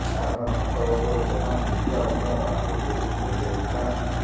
କାରଣ ଛାତ ଉପରୁ ବୋମା ଫିଙ୍ଗିବା ଦିନ ତାଙ୍କୁ ପୁଲିସ ନେଇଯାଇଥିଲା